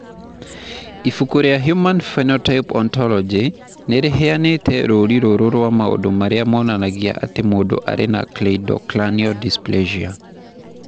Ibuku rĩa The Human Phenotype Ontology nĩ rĩheanĩte rũũri rũrũ rwa maũndũ marĩa monanagia atĩ mũndũ arĩ na Cleidocranial dysplasia.